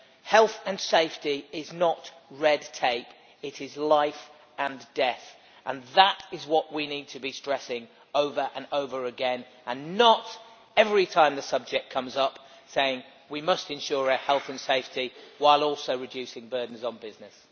Health and safety is not red tape, it is life and death. That is what we need to be stressing over and over again and not, every time the subject comes up, saying that we must ensure health and safety while also reducing burdens on business.